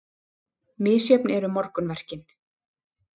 Misjöfn eru morgunverkin.